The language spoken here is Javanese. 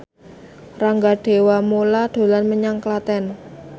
Rangga Dewamoela dolan menyang Klaten